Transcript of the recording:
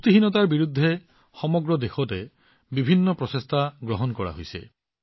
পুষ্টিহীনতাৰ বিৰুদ্ধে সমগ্ৰ দেশতে বহুতো সৃষ্টিশীল আৰু বিবিধ প্ৰচেষ্টা কৰা হৈছে